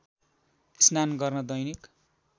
स्नान गर्न दैनिक